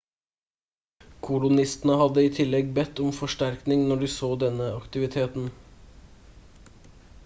kolonistene hadde i tillegg bedt om forsterkning når de så denne aktiviteten